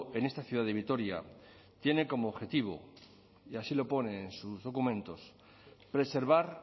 en esta ciudad de vitoria tiene como objetivo y así lo pone en sus documentos preservar